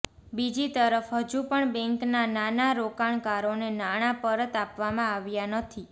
બીજી તરફ હજુ પણ બેંકના નાના રોકાણકારોને નાણાં પરત આપવામાં આવ્યા નથી